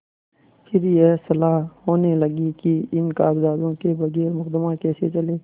फिर यह सलाह होने लगी कि इन कागजातों के बगैर मुकदमा कैसे चले